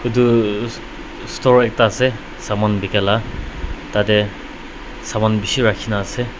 tuu store ekta ase saman bikala tatae saman bishi rakhina ase.